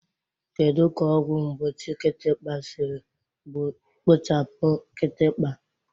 Kedu ka ọgwụ mgbochi kịtịkpa siri kpochapụ kịtịkpa?